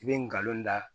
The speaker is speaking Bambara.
I bɛ ngalon da